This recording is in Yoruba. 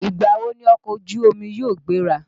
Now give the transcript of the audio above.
Ìgbà wo ni ọkọ̀ ojú omi yóò gbéra?